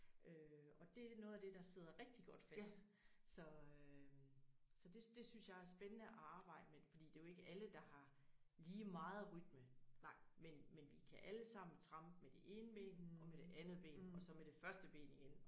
Øh og det noget af det der sidder rigtig godt fast så øh så det det synes jeg er spændende at arbejde med fordi det jo ikke alle der har lige meget rytme men men vi kan allesammen trampe med ene ben og med det andet ben og så med det første ben igen